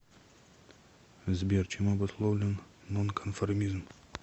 сбер чем обусловлен нонконформизм